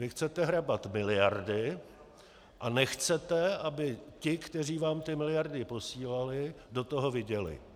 Vy chcete hrabat miliardy a nechcete, aby ti, kteří vám ty miliardy posílali, do toho viděli.